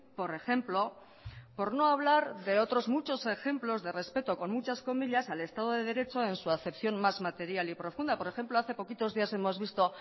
por ejemplo por no hablar de otros muchos ejemplos de respeto con muchas comillas al estado de derecho en su acepción más material y profunda por ejemplo hace poquitos días hemos visto